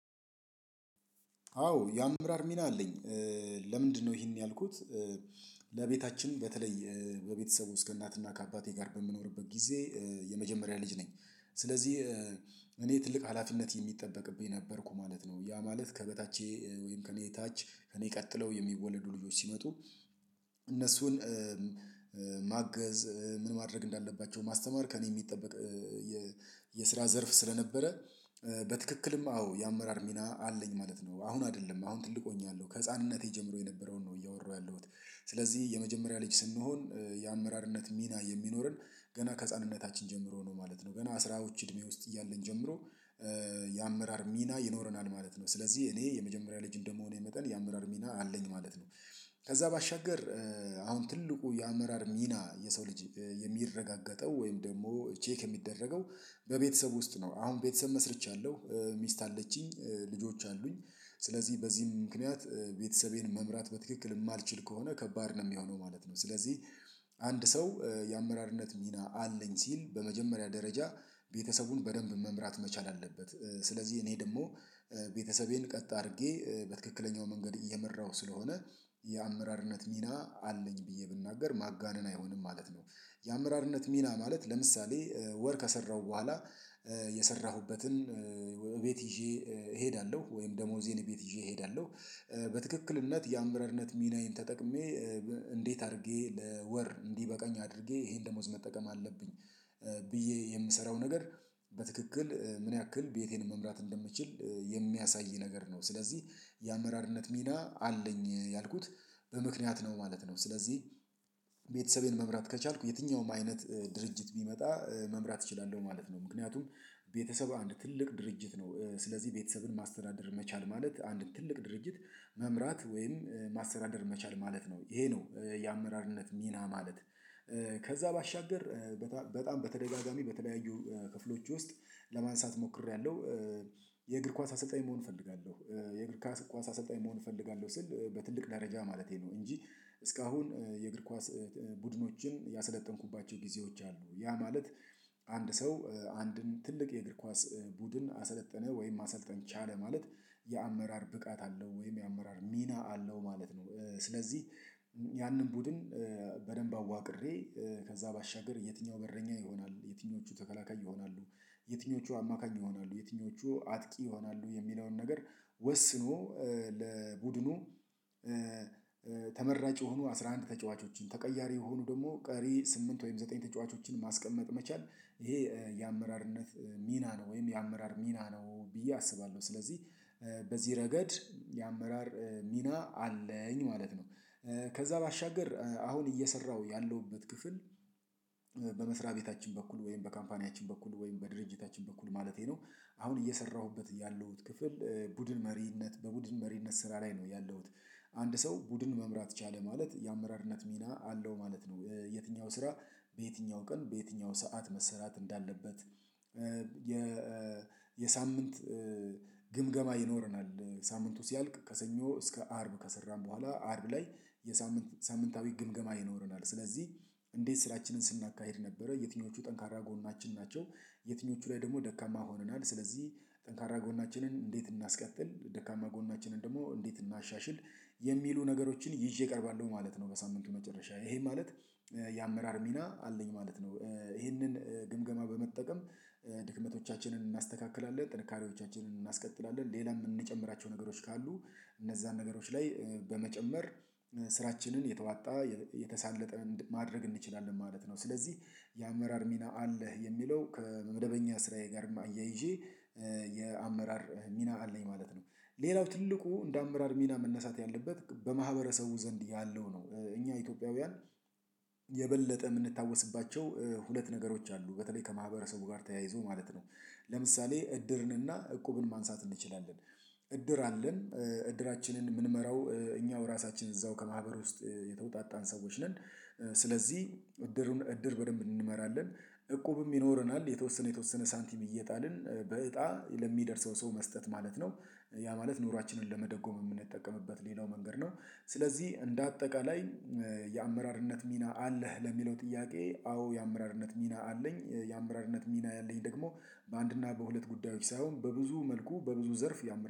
አዎ የአምራር ሚና አለኝ። ለምንድነው ይሄን ያልኩት? ለቤታችን በተለይ በቤተሰቡ እስከ እናትና ከአባቴ ጋር በምኖርበት ጊዜ። የመጀመሪያ ልጅ ነኝ። ስለዚህ እኔ ትልቅ ሀላፊነት የሚጠበቅብኝ ነበርኩ ማለት ነው። ያ ማለት ከበታቼ ወይም ከእኔ ታች ከእኔ ቀጥለው የሚወለዱ ልጆች ሲመጡ። እነሱን ማገዝ ምን ማድረግ እንዳለባቸው ማስተማር ከእኔ የሚጠበቅ። የስራ ዘርፍ ስለነበረ በትክክልም አዎ የአመራር ሚና አለኝ ማለት ነው። አሁን አይደለም አሁን ትልቆኛለሁ ከህፃንነቴ ጀምሮ የነበረውን ነው እያወራሁ ያለሁት። ስለዚህ የመጀመሪያ ልጅ ስንሆን የአመራርነት ሚና የሚኖረን ገና ከህፃንነታችን ጀምሮ ነው ማለት ነው። በና ስራዎች እድሜ ውስጥ እያለን ጀምሮ የአመራር ሚና ይኖረናል ማለት ነው። ስለዚህ እኔ የመጀመሪያ ልጅ እንደመሆን የመጣን የአመራር ሚና አለኝ ማለት ነው። ከዛ ባሻገር አሁን ትልቁ የአመራር ሚና የሰው ልጅ የሚረጋገጠው ወይም ደግሞ ቼክ የሚደረገው በቤተሰብ ውስጥ ነው። አሁን ቤተሰብ መስርቻለሁ ሚስት አለችኝ ልጆች አሉኝ። ስለዚህ በዚህም ምክንያት ቤተሰቤን መምራት በትክክል የማልችል ከሆነ ከባድ ነው የሚሆነው ማለት ነው። ስለዚህ አንድ ሰው የአመራርነት ሚና አለኝ ሲል በመጀመሪያ ደረጃ ቤተሰቡን በደንብ መምራት መቻል አለበት። ስለዚህ እኔ ደግሞ ቤተሰቤን ቀጥ አድርጌ በትክክለኛው መንገድ እየመራሁ ስለሆነ የአመራርነት ሚና አለኝ ብዬ ብናገር ማጋነን አይሆንም ማለት ነው። የአመራርነት ሚና ማለት ለምሳሌ ወር ከሰራሁ በኋላ የሰራሁበትን እቤት ይዤ እሄዳለሁ ወይም ደሞዜን እቤት ይዤ እሄዳለሁ። በትክክለኛነት የአምረርነት ሚናዬን ተጠቅሜ እንዴት አድርጌ ለወር እንዲበቀኝ አድርጌ ይሄን ደሞዝ መጠቀም አለብኝ። ብዬ የምሰራው ነገር በትክክል ምን ያክል ቤቴን መምራት እንደምትችል የሚያሳይ ነገር ነው። ስለዚህ የአመራርነት ሚና አለኝ ያልኩት በምክንያት ነው ማለት ነው። ስለዚህ ቤተሰቤን መምራት ከቻልኩ የትኛውም አይነት ድርጅት ቢመጣ መምራት እችላለሁ ማለት ነው። ምክንያቱም ቤተሰብ አንድ ትልቅ ድርጅት ነው። ስለዚህ ቤተሰብን ማስተዳደር መቻል ማለት አንድ ትልቅ ድርጅት መምራት ወይም ማስተዳደር መቻል ማለት ነው ይሄ ነው። የአመራርነት ሚና ማለት ከዛ ባሻገር በጣም በተደጋጋሚ በተለያዩ ክፍሎች ውስጥ ለማንሳት ሞክሬያለሁ። የእግር ኳስ አሰልጣኝ መሆን እፈልጋለሁ የእግር ኳስ አሰልጣኝ መሆን እፈልጋለሁ ስል በትልቅ ደረጃ ማለቴ ነው። እንጂ እስካሁን የእግር ኳስ ቡድኖችን ያሰለጠንኩባቸው ጊዜዎች አሉ። ያ ማለት አንድ ሰው አንድን ትልቅ የእግር ኳስ ቡድን አሰለጠነ ወይም ማሰልጠን ቻለ ማለት የአመራር ብቃት አለው ወይም የአመራር ሚና አለው ማለት ነው። ስለዚህ ያንን ቡድን በደንብ አዋቅሬ ከዛ ባሻገር የትኛው በረኛ ይሆናል የትኞቹ ተከላካይ ይሆናሉ። የትኞቹ አማካኝ ይሆናሉ የትኞቹ አጥቂ ይሆናሉ የሚለውን ነገር ወስኖ ለቡድኑ የሆኑ አስራ አንድ ተጫዋቾችን ተቀያሪ የሆኑ ደግሞ ቀሪ ስምንት ወይም ዘጠኝ ተጫዋቾችን ማስቀመጥ መቻል ይሄ የአመራርነት ሚና ነው። ወይም የአመራር ሚና ነው ብዬ አስባለሁ ስለዚህ በዚህ ረገድ የአመራር ሚና አለኝ ማለት ነው። ከዛ ባሻገር አሁን እየሰራሁ ያለሁበት ክፍል በመስሪያ ቤታችን በኩል ወይም በካምፓኒያችን በኩል ወይም በድርጅታችን በኩል ማለቴ ነው። አሁን እየሰራሁበት ያለሁት ክፍል ቡድን መሪነት በቡድን መሪነት ስራ ላይ ነው ያለውት። አንድ ሰው ቡድን መምራት ቻለ ማለት የአመራርነት ሚና አለው ማለት ነው። የትኛው ስራ በየትኛው ቀን በየትኛው ሰዓት መሰራት እንዳለበት? የሳምንት ግምገማ ይኖረናል ሳምንቱ ሲያልቅ ከሰኞ እስከ አርብ ከሰራን በኋላ አርብ ላይ የሳምንታዊ ግምገማ ይኖረናል። ስለዚህ እንዴት ስራችንን ስናካሂድ ነበረ የትኞቹ ጠንካራ ጎናችን ናቸው? የትኞቹ ላይ ደግሞ ደካማ ሆነናል። ስለዚህ ጠንካራ ጎናችንን እንዴት እናስቀጥል ደካማ ጎናችንን ደግሞ እንዴት እናሻሽል የሚሉ ነገሮችን ይዤ ቀርባለሁ ማለት ነው። በሳምንቱ መጨረሻ ይሄ ማለት የአመራር ሚና አለኝ ማለት ነው። ይሄንን ግምገማ በመጠቀም ድክመቶቻችንን እናስተካክላለን ጥንካሬዎቻችንን እናስቀጥላለን ሌላም የምንጨምራቸው ነገሮች ካሉ እነዛን ነገሮች ላይ በመጨመር ስራችንን የተዋጣ የተሳለጠ ማድረግ እንችላለን ማለት ነው። ስለዚህ የአመራር ሚና አለህ የሚለው ከመደበኛ ስራዬ ጋር እያይዤ የአመራር ሚና አለኝ ማለት ነው። ሌላው ትልቁ እንደ አመራር ሚና መነሳት ያለበት በማህበረሰቡ ዘንድ ያለው ነው። እኛ ኢትዮጵያውያን የበለጠ የምንታወስባቸው ሁለት ነገሮች አሉ። በተለይ ከማህበረሰቡ ጋር ተያይዞ ማለት ነው። ለምሳሌ እድርን እና እቁብን ማንሳት እንችላለን። እድር አለን እድራችንን የምንመራው እኛው ራሳችን እዛው ከማህበር ውስጥ የተወጣጣን ሰዎች ነን። ስለዚህ እድርን እድር በደንብ እንመራለን። እቁብም ይኖረናል የተወሰነ የተወሰነ ሳንቲም እየጣልን በእጣ ለሚደርሰው ሰው መስጠት ማለት ነው። ያ ማለት ኑሯችንን ለመደጎም የምንጠቀምበት ሌላው መንገድ ነው። ስለዚህ እንደ አጠቃላይ የአመራርነት ሚና አለህ ለሚለው ጥያቄ አዎ የአመራርነት ሚና አለኝ። የአመራርነት ሚና ያለኝ ደግሞ በአንድና በሁለት ጉዳዮች ሳይሆን በብዙ መልኩ በብዙ ዘርፍ ያመራር